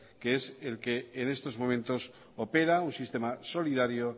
que es el que en estos momentos opera un sistema solidario